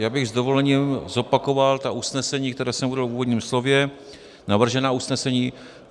Já bych s dovolením zopakoval ta usnesení, která jsem uvedl v úvodním slově, navržená usnesení: